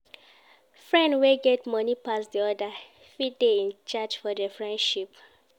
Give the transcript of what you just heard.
Friend wey get money pass di other fit de in charge for the friendship